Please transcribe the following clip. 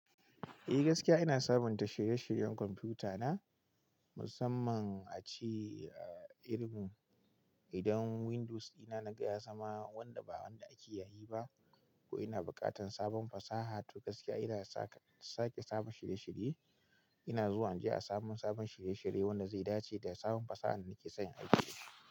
Eh gaskiya ina sabunta shirye-shiryen kwamfuta na musamman a ci a irin idan Windows ina na gaya sama wanda ba wanda ake yayi ba ko ina bukatan sabon fasaha to gaskiya ina sake sabon shirye-shirye. Ina zuwa inje a samu sabon shirye-shirye wanda zai dace da sabon fasahar da nake son aiki da ita.